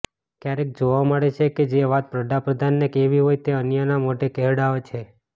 ક્યારેક જોવા મળે છે કે જે વાત વડાપ્રધાને કહેવી હોય તે અન્યના મોઢે કહેવડાવે છે